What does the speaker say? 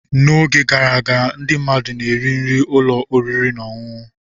N'oge gara aga, ndị mmadụ na-eri nri ụlọ oriri na ọṅụṅụ.